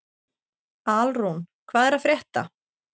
Alrún, hvað er að frétta?